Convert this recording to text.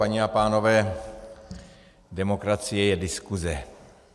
Paní a pánové, demokracie je diskuze.